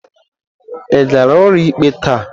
Ị gara ụlọikpe taa?